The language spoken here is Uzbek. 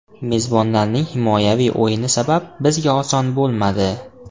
Mezbonlarning himoyaviy o‘yini sabab, bizga oson bo‘lmadi.